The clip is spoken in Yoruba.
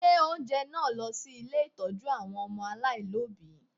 Gbé oúnjẹ náà lọ sí ilé ìtọ́jú àwọn ọmọ aláìlọ́bìí!